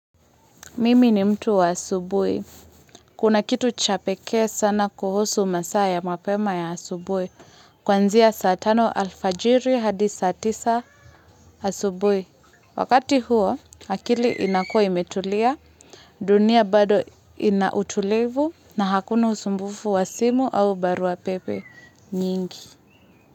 Mimi ni mtu wa asubuhi. Kuna kitu cha pekee sana kuhusu masaa ya mapema ya asubuhi. Kuanzia saa tano alfajiri hadi saa tisa asubuhi. Wakati huo, akili inakuwa imetulia, dunia bado ina utulivu na hakuna usumbufu wa simu au barua pepe nyingi.